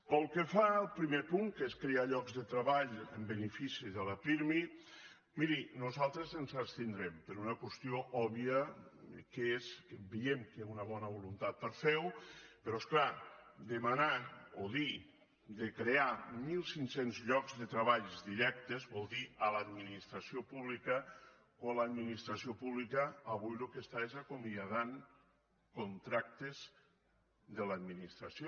pel que fa al primer punt que és crear llocs de treball en benefici de la pirmi miri nosaltres ens abstindrem per una qüestió òbvia que és que veiem que hi ha una bona voluntat per fer ho però és clar demanar o dir de crear mil cinc cents llocs de treball directes vol dir a l’administració pública quan l’administració pública avui el que està és acomiadant contractes de l’administració